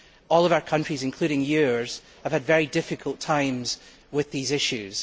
All of our countries, including yours, have had very difficult times with these issues.